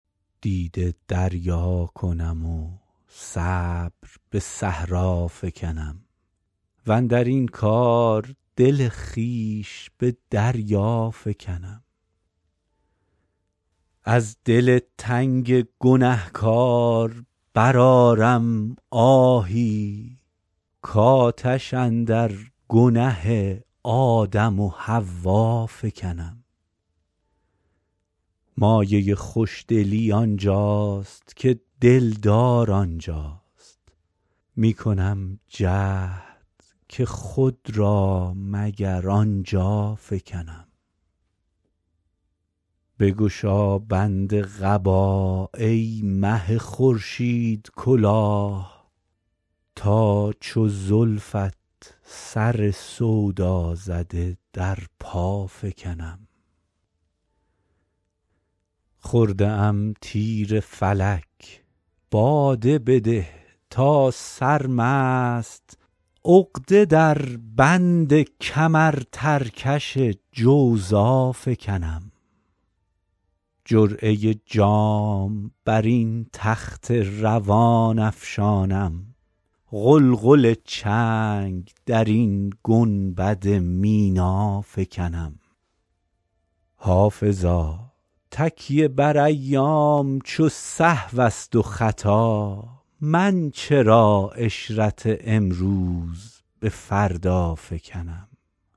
دیده دریا کنم و صبر به صحرا فکنم واندر این کار دل خویش به دریا فکنم از دل تنگ گنه کار برآرم آهی کآتش اندر گنه آدم و حوا فکنم مایه خوش دلی آن جاست که دل دار آن جاست می کنم جهد که خود را مگر آن جا فکنم بگشا بند قبا ای مه خورشیدکلاه تا چو زلفت سر سودا زده در پا فکنم خورده ام تیر فلک باده بده تا سرمست عقده در بند کمرترکش جوزا فکنم جرعه جام بر این تخت روان افشانم غلغل چنگ در این گنبد مینا فکنم حافظا تکیه بر ایام چو سهو است و خطا من چرا عشرت امروز به فردا فکنم